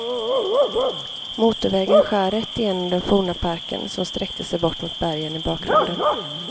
Motorvägen skär rätt igenom den forna parken, som sträckte sig bort mot bergen i bakgrunden.